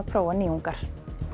prófa nýjungar